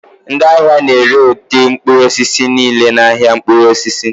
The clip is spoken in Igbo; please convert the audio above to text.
Ndị ahịa na-ere ụdị mkpụrụ osisi niile n'ahịa mkpụrụ osisi